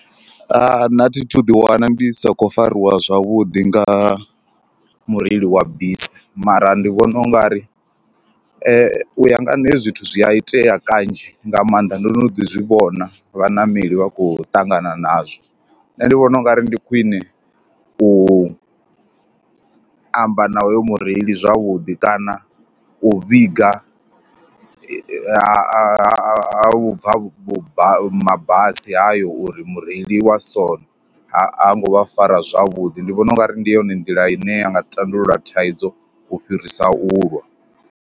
Nṋe thi thu ḓiwana ndi sa khou fariwa zwavhuḓi nga mureili wa bisi mara ndi vhona u nga ri u ya nga nṋe hezwi zwithu zwi a itea kanzhi nga maanḓa. Ndo no ḓi zwi vhona vhaṋameli vha khou ṱangana nazwo, nṋe ndi vhona u nga ri ndi khwiṋe u amba na hoyu mureili zwavhuḓi kana u vhiga ha ha u bva vhuba mabasi hayo uri mureili wa so ha ngo vha fara zwavhuḓi. Ndi vhona u nga ri ndi yone nḓila ine ya nga tandulula thaidzo u fhirisa u lwa.